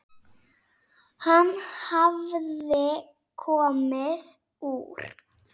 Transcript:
Hann hafði komið úr